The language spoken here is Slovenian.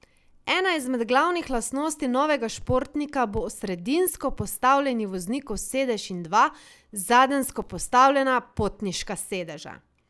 Ena izmed glavnih lastnosti novega športnika bo sredinsko postavljeni voznikov sedež in dva, zadenjsko postavljena, potniška sedeža.